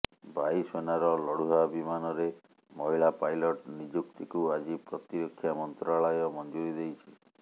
ବାୟୁସେନାର ଲଢୁଆ ବିମାନରେ ମହିଳା ପାଇଲଟ ନିଯୁକ୍ତିକୁ ଆଜି ପ୍ରତିରକ୍ଷା ମନ୍ତ୍ରାଳୟ ମଞ୍ଜୁରି ଦେଇଛି